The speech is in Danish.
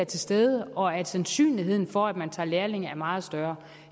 til stede og at sandsynligheden for at man tager lærlinge er meget større